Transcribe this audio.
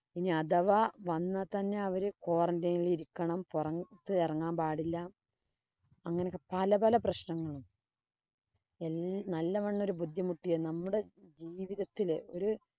ഇനി അഥവാ വന്നാ തന്നെ അവര് qurantine ഇല്‍ ഇരിക്കണം. പൊറത്ത് ഇറങ്ങാന്‍ പാടില്ല. അങ്ങനൊക്കെ പല പല പ്രശ്നങ്ങളും നല്ലവണ്ണം ഒരു ബുദ്ധിമുട്ടിയ നമ്മുടെ ജീവിതത്തില് ഒരു